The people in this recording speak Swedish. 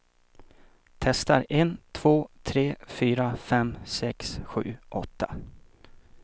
Testar en två tre fyra fem sex sju åtta.